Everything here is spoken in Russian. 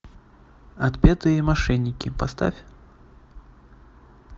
отпетые мошенники поставь